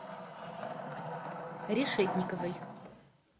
решетниковой